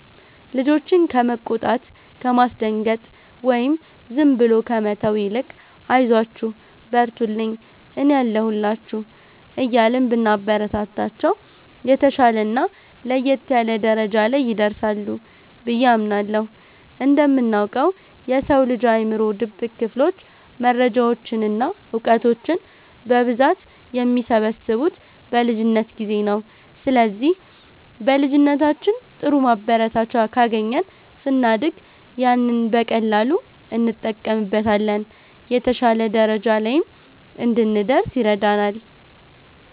ልጆችን ከመቆጣት፣ ከማስደንገጥ ወይም ዝም ብሎ ከመተው ይልቅ 'አይዟችሁ፣ በርቱልኝ፣ እኔ አለሁላችሁ' እያልን ብናበረታታቸው፣ የተሻለና ለየት ያለ ደረጃ ላይ ይደርሳሉ ብዬ አምናለሁ። እንደምናውቀው፣ የሰው ልጅ አእምሮ ድብቅ ክፍሎች መረጃዎችን እና እውቀቶችን በብዛት የሚሰበስቡት በልጅነት ጊዜ ነው። ስለዚህ በልጅነታችን ጥሩ ማበረታቻ ካገኘን፣ ስናድግ ያንን በቀላሉ እንጠቀምበታለን፤ የተሻለ ደረጃ ላይም እንድንደርስ ይረዳናል።